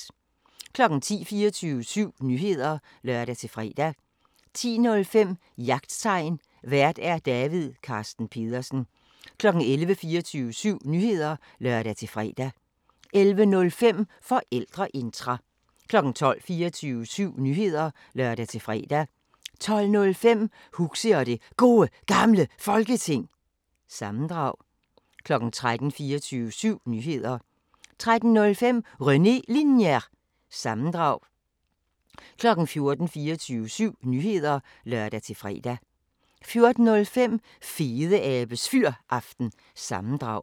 10:00: 24syv Nyheder (lør-fre) 10:05: Jagttegn Vært: David Carsten Pedersen 11:00: 24syv Nyheder (lør-fre) 11:05: Forældreintra 12:00: 24syv Nyheder (lør-fre) 12:05: Huxi og det Gode Gamle Folketing – sammendrag 13:00: 24syv Nyheder (lør-fre) 13:05: René Linjer- sammendrag 14:00: 24syv Nyheder (lør-fre) 14:05: Fedeabes Fyraften – sammendrag